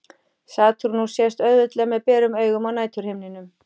Satúrnus sést auðveldlega með berum augum á næturhimninum.